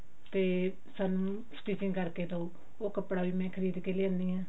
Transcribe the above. ਤੇ ਸਾਨੂੰ stitching ਕਰਕੇ ਦਿਓ ਉਹ ਕੱਪੜਾ ਵੀ ਮੈਂ ਖਰੀਦ ਕਿ ਲਿਆਉਣੀ ਹਾਂ